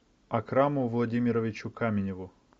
акраму владимировичу каменеву